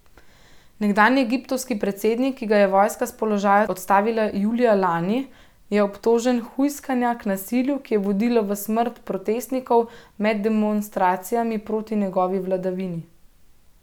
Nekdanji egiptovski predsednik, ki ga je vojska s položaja odstavila julija lani, je obtožen hujskanja k nasilju, ki je vodilo v smrt protestnikov med demonstracijami proti njegovi vladavini.